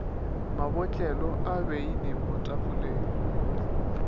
mabotlelo a beine mo tafoleng